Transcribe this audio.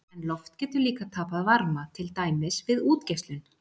En loft getur líka tapað varma, til dæmis við útgeislun.